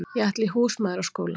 Ég ætla í húsmæðraskóla.